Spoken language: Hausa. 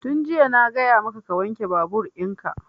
Tun jiya na gaya maka ka wanke babur in ka!